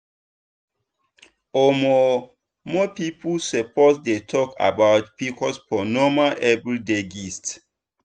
omo more people suppose dey talk about pcos for normal everyday gist.